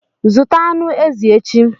Zụta anụ ezi echi!